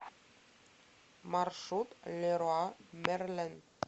маршрут леруа мерлен